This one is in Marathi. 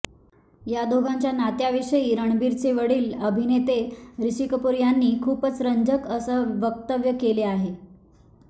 या दोघांच्या नात्याविषयी रणबीरचे वडिल अभिनेते ऋषी कपूर यांनी खुपच रंजक असं वक्तव्य केलं आहे